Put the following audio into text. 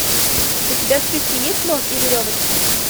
у тебя в списке есть слон и веревочка